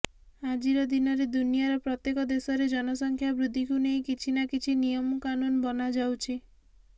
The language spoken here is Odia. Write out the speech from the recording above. ଆଜିର ଦିନରେ ଦୁନିଆର ପ୍ରତ୍ୟେକ ଦେଶରେ ଜନସଂଖ୍ୟା ବୃଦ୍ଧିକୁ ନେଇ କିଛି ନା କିଛି ନିୟମକାନୁନ୍ ବନାଯାଉଛି